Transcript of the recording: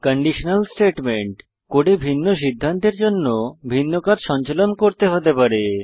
conditional statement কোডে ভিন্ন সিদ্ধান্তের জন্য ভিন্ন কাজ সঞ্চালন করতে হতে পারে